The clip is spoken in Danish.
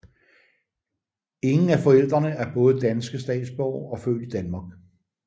Ingen af forældrene er både danske statsborgere og født i Danmark